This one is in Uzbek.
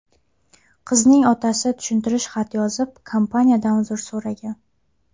Qizning otasi tushuntirish xati yozib, kompaniyadan uzr so‘ragan.